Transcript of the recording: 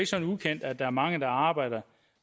sådan ukendt at der er mange der arbejder